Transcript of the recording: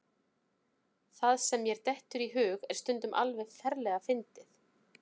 Það sem mér dettur í hug er stundum alveg ferlega fyndið.